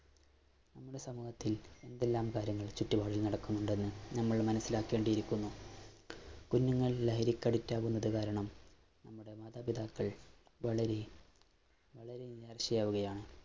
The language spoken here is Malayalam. നമ്മുടെ സമൂഹത്തില്‍ എന്തെല്ലാം കാര്യങ്ങള്‍ ചുറ്റുപാടും നടക്കുന്നുണ്ടെന്ന് നമ്മള്‍ മനസിലാക്കേണ്ടിയിരിക്കുന്നു. കുഞ്ഞുങ്ങള്‍ ലഹരിക്ക്‌ addict ആകുന്ന കാരണം നമ്മുടെ മാതാപിതാക്കള്‍ വളര വളരെ ആകുകയാണ്.